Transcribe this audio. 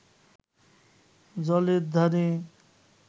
জলের ধারে